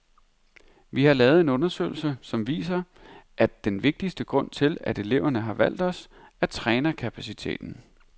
Vi har lavet en undersøgelse, som viser, at den vigtigste grund til, at eleverne har valgt os, er trænerkapaciteten.